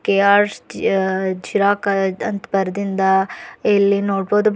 ಕೆಆರ್ರ್ಸ್ ಅ ಝೀರಾಕ ದಂತ ಬರದಿಂದ ಇಲ್ಲಿ ನೋಡ್ಬೋದು.